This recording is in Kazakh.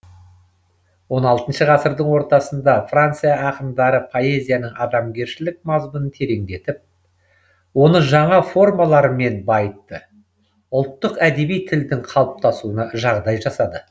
он алтыншы ғасырдың ортасында франция ақындары поэзияның адамгершілік мазмұнын тереңдетіп оны жаңа формалармен байытты ұлттық әдеби тілдің қалыптасуына жағдай жасады